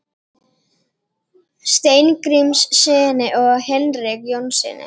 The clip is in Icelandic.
Steingrímssyni og Hinrik Jónssyni.